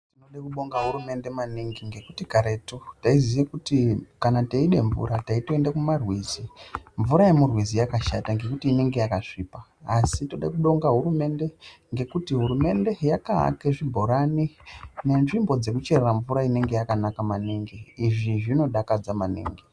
Tinode kubonga hurumende maningi ngekuti karetu taiziye kuti kana teide mvura taitoende kumarwizi. Mvura yemurwizi yakashata ngekuti inonga yakasvipa. Asi tinode kubonga hurumende ngekuti hurumende yakaaka zvibhorani nenzvimbo dzekucherera mvura inenge yakanaka maningi, izvi zvinodakadza maningi.